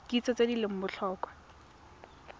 kitso tse di leng botlhokwa